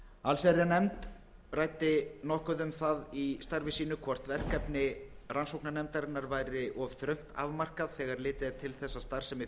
allsherjarnefnd ræddi nokkuð um það í starfi sínu hvort verkefni rannsóknarnefndarinnar væri of þröngt afmarkað þegar litið er til þess að starfsemi